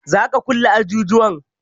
Za'a kulle ajujuwan?